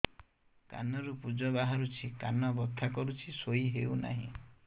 କାନ ରୁ ପୂଜ ବାହାରୁଛି କାନ ବଥା କରୁଛି ଶୋଇ ହେଉନାହିଁ